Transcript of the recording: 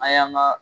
An y'an ga